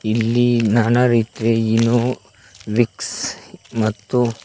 ಇಲ್ಲಿ ನಾನಾರೀತಿ Eno Vicks ಮತ್ತು--